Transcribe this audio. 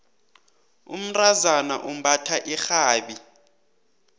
umntazana umbatha irhabi